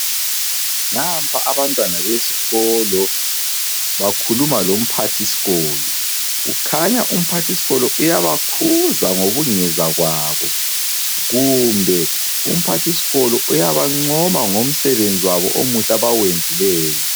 Nampa abantwana besikolo bakhuluma lomphathisikolo, kukhanya umphathisikolo uyabakhuza ngobungezwa kwabo, kumbe umpathisikolo uyabancoma ngomsebenzi wabo omuhle abawenzileyo.